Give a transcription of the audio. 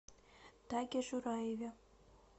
таге жураеве